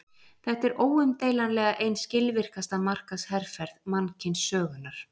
Þetta er óumdeilanlega ein skilvirkasta markaðsherferð mannkynssögunnar.